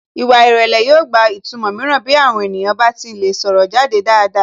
Ìwà ìrẹlẹ̀ yóò gba ìtumọ̀ mìíràn bí àwọn ènìyàn bá ti ń lè sọ̀rọ̀ jáde dáadáa